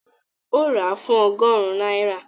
Ó rà fún ọgọ́rùn-ún náírà